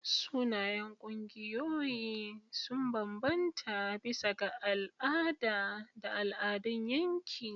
Sunayen ƙungiyoyi sun bambanta bisa ga al'ada da al'adun yanki.